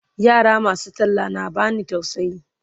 yara masu talla na bani tausayi